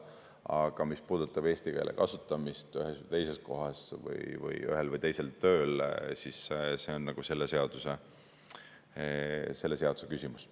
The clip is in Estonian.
Aga mis puudutab eesti keele kasutamist ühes või teises kohas või ühel või teisel tööl, siis see on selle seaduse küsimus.